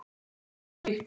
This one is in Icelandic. Þetta var henni líkt.